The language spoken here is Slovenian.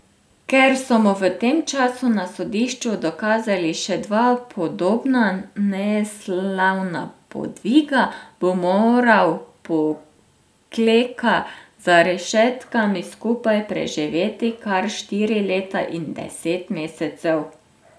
Ker so mu v tem času na sodišču dokazali še dva podobna neslavna podviga, bo moral Pokleka za rešetkami skupaj preživeti kar štiri leta in deset mesecev.